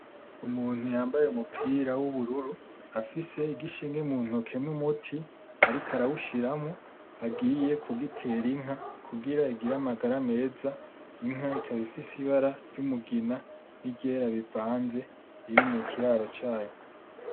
Umuntu yambaye umupira w'ubururu afise igishinge mu ntoki n'umuti, ariko arawushiramo agiye kugitera inka kugira igire amagara meza. Inka ikaba ifise ibara ry'umugina ni ryera bivanze, biri mu kiraro cayo.